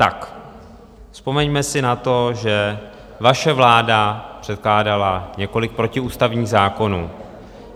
Tak vzpomeňme si na to, že vaše vláda předkládala několik protiústavních zákonů.